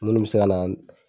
Minnu bɛ se ka na